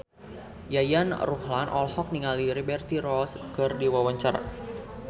Yayan Ruhlan olohok ningali Liberty Ross keur diwawancara